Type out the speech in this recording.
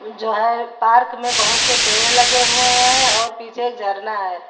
जो है पार्क में बहुत से पेड़ लगे हुए हैं और पीछे एक झरना है।